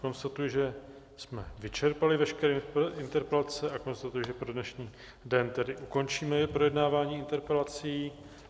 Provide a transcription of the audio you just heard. Konstatuji, že jsme vyčerpali veškeré interpelace, a konstatuji, že pro dnešní den tedy ukončíme projednávání interpelací.